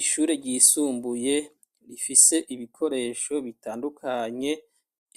Ishure ryisumbuye rifise ibikoresho bitandukanye,